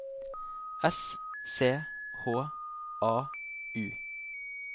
S C H A U